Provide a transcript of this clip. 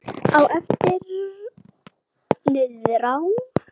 Á eftir niðrá